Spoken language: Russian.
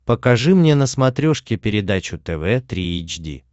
покажи мне на смотрешке передачу тв три эйч ди